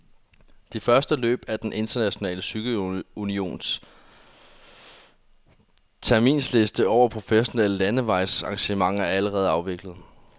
De første løb på den internationale cykelunions terminsliste over professionelle landevejsarrangementer er allerede afviklet.